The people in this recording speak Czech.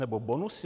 Nebo bonusy?